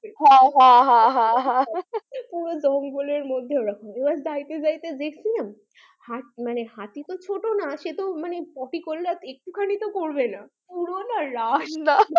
হ্যাঁ হ্যাঁ হ্যাঁ পুরো জংঙ্গলের মধ্যে এরকম এবার যাইতে যাইতে দেখছিলাম হাতি তো ছোট না সেতো মানে potty করলে একটু খানি তো করবে না পুরো না রাস্তা